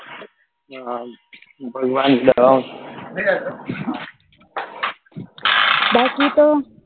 હા ભગવાન